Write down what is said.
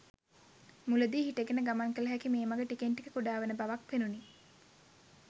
මුලදී හිටගෙන ගමන් කළ හැකි මේ මග ටිකෙන් ටික කුඩා වන බවක් පෙනුණි.